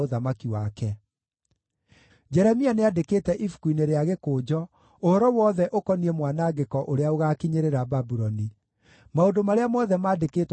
Jeremia nĩandĩkĩte ibuku-inĩ rĩa gĩkũnjo ũhoro wothe ũkoniĩ mwanangĩko ũrĩa ũgaakinyĩrĩra Babuloni: maũndũ marĩa mothe maandĩkĩtwo makoniĩ Babuloni.